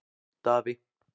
Daði